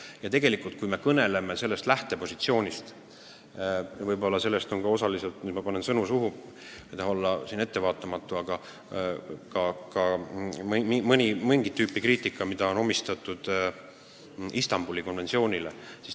Ja kui me lähtume sellelt positsioonilt, siis võib-olla osaliselt – nüüd ma äkki panen kellelegi sõnu suhu, ma ei taha siin ettevaatamatu olla –, johtub sellest mingit tüüpi kriitika Istanbuli konventsiooni pihta.